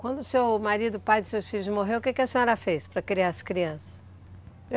Quando o seu marido, o pai dos seus filhos morreu, o que a senhora fez para criar as crianças?